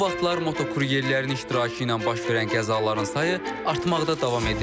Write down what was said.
Son vaxtlar motokuryerlərin iştirakı ilə baş verən qəzaların sayı artmaqda davam edir.